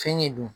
Fɛn ɲɛ don